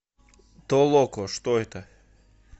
толоко что это